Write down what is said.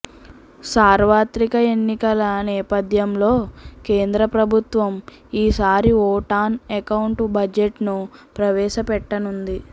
సార్వత్రిక ఎన్నికల నేపథ్యంలో కేంద్ర ప్రభుత్వం ఈసారి ఓట్ ఆన్ అకౌంట్ బడ్జెట్ను ప్రవేశపెట్టనుంది